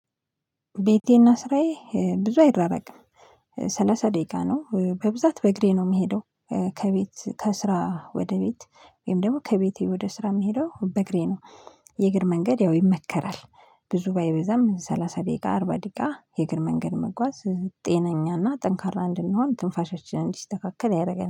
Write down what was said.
ቤቴና ስራዬ ብዙ አይራራቅም ሰላሳ ደቂቃ ነው በብዛት በእግሬ ነው እምሄደው። ከቤት ከስራ ወደ ቤት ወይም ደግሞ ከቤቴ ወደ ስራ እምሄደው በእግሬ ነው። የእግር መንገድ ያው ይመከራል። ብዙ ባይበዛም ሰላሳ ደቂቃ አርባ ደቂቃ የእግር መንገድ መጓዝ ጤነኛና ጠንካራ እንድንሆን ትንፋሻችን እንዲስተካከል ያደርገናል